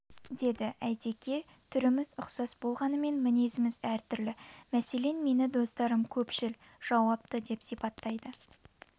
деді әйтеке түріміз ұқсас болғанмен мінезіміз әр түрлі мәселен мені достарым көпшіл жауапты деп сипаттайды